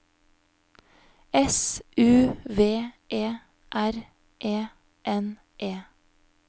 S U V E R E N E